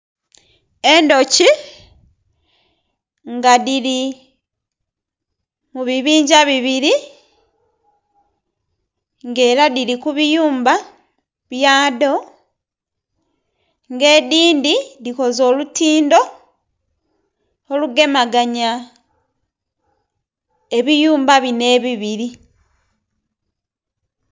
Endhuki nga dhiri mubibinga bibiri nga era dhiri kubiyumba byadho nga edhindhi dhikoze olutindho olugemaganya ebiyumba bino ebiviri.